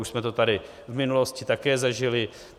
Už jsme to tady v minulosti také zažili.